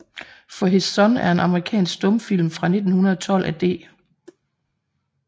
For His Son er en amerikansk stumfilm fra 1912 af D